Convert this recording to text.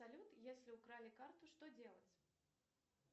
салют если украли карту что делать